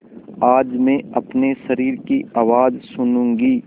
आज मैं अपने शरीर की आवाज़ सुनूँगी